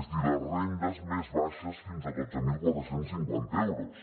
és a dir les rendes més baixes fins a dotze mil quatre cents i cinquanta euros